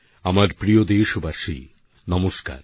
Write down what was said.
আমার প্রিয় দেশবাসী নমস্কার